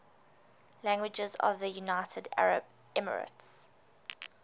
languages of the united arab emirates